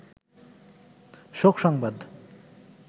শোক সংবাদ